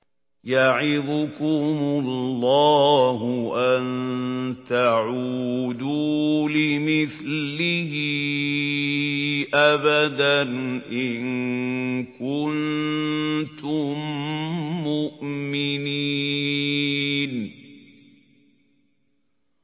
يَعِظُكُمُ اللَّهُ أَن تَعُودُوا لِمِثْلِهِ أَبَدًا إِن كُنتُم مُّؤْمِنِينَ